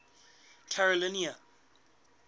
carolina